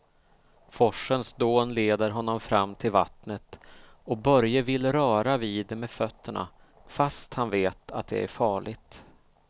Forsens dån leder honom fram till vattnet och Börje vill röra vid det med fötterna, fast han vet att det är farligt.